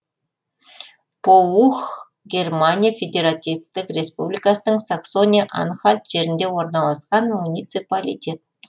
поух германия федеративтік республикасының саксония анхальт жерінде орналасқан муниципалитет